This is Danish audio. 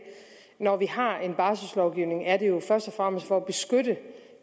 når vi har en barsellovgivning er det jo først og fremmest for at beskytte